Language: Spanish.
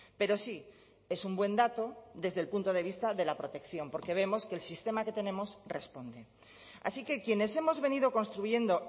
pero sí es un buen dato desde el punto de vista de la protección porque vemos que el sistema que tenemos responde así que quienes hemos venido construyendo